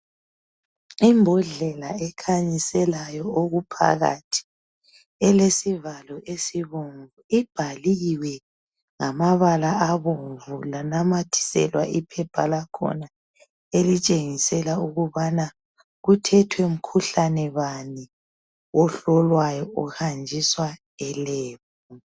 Imbodlela ekhanyiselayo okuphakathi elesivalo esibomvu ibhaliwe ngamabala abomvu lanamathiselwa iphepha lakhona elitshengisela ukubana kuthethwe mkhuhlane bani ohlolwayo uhanjiswa elebhu.